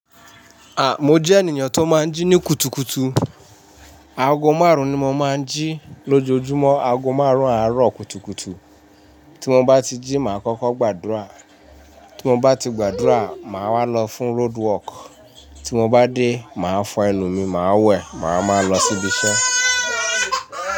À, mo jẹ́ ènìyàn tó máa ń jí ní kùtùkùtù. Aago márùn-ún ni mo máa ń jí lójoojúmọ́. Aago márùn-ún àárọ̀ kùtùkùtù. Tí mo bá ti jí, màá kọ́kọ́ gbàdúrà. Tí mo bá ti gbàdúrà, màá wà lọ fún road work. Tí mo bá dé, màá fọ ẹnu mi, màá wẹ̀, màá máa lọ sí ibi iṣẹ́